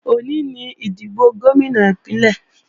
Òní ni ìdìbò Gómìnà Ìpínlẹ̀